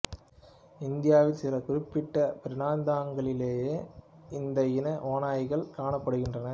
இந்தியாவின் சில குறிப்பிட்ட பிராந்தியங்களிலேயே இந்த இன ஓநாய்கள் காணப்படுகின்றன